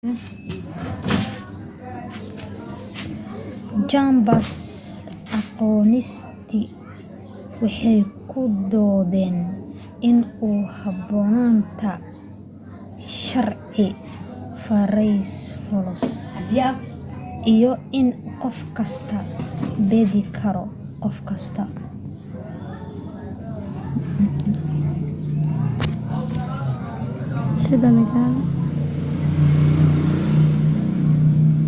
jambars agnostig waxay ku doodeen in ku haboonaanta sharci farayfoloos iyo in qof kastaa beedi karo qof kastaa